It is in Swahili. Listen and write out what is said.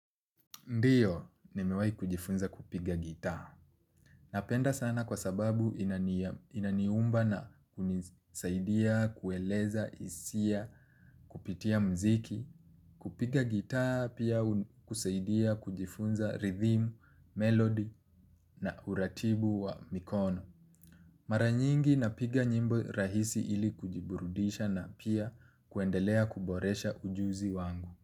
Ndio, nimewahi kujifunza kupiga gitaa. Napenda sana kwa sababu inaniumba na kunisaidia, kueleza hisia kupitia muziki. Kupiga gitaa pia husaidia kujifunza rhythm, melody na uratibu wa mikono. Maranyingi napiga nyimbo rahisi ili kujiburudisha na pia kuendelea kuboresha ujuzi wangu.